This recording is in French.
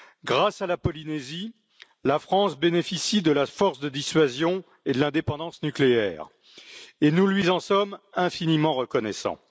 Grâce à la Polynésie, la France bénéficie de la force de dissuasion et de l'indépendance nucléaire, et nous lui en sommes infiniment reconnaissants.